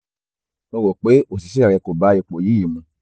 mo rò pé òṣìṣẹ́ rẹ kò bá ipò yìí mu